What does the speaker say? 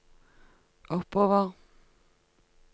oppover